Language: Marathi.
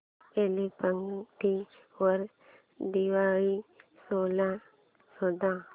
फ्लिपकार्ट वर दिवाळी सेल शोधा